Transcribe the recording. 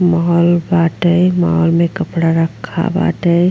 Mall बाटै mall में कपडा रखल बाटे।